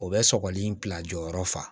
O bɛ sɔgɔli bila jɔyɔrɔ fa